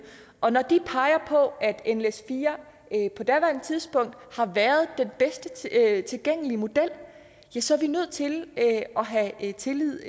og når de peger på at nles4 på daværende tidspunkt har været den bedst tilgængelige model ja så er vi nødt til at have tillid